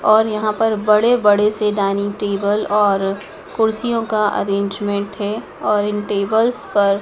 और यहाँ पर बड़े-बड़े से डाइनिंग टेबल और कुर्सियों का अरेंजमेंट है और इन टेबल्स पर --